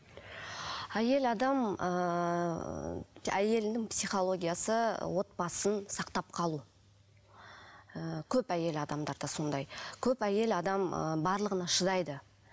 әйел адам ыыы әйелінің психологиясы отбасын сақтап қалу ыыы көп әйел адамдар да сондай көп әйел адам ы барлығына шыдайды